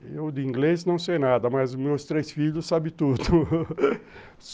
Eu, de inglês, não sei nada, mas meus três filhos sabem tudo